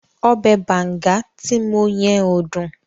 Ọbẹ̀ banga ti mo yẹn ò dùn.